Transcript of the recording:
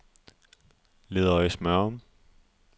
Ledøje-Smørum